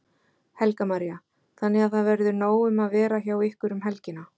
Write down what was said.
Helga María: Þannig að það verður nóg um að vera hjá ykkur um helgina?